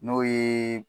N'o ye